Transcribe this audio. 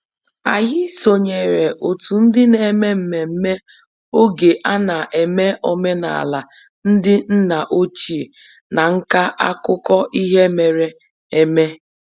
Anyị sonyeere otu ndị na-eme mmemme oge a na-eme omenala ndị nna ochie na nka akụkọ ihe mere eme